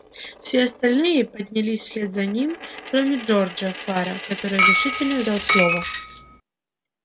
все остальные поднялись вслед за ним кроме джорджа фара который решительно взял слово